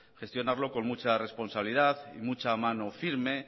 gestionarlo con mucha responsabilidad y mucha mano firme